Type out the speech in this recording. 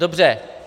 Dobře.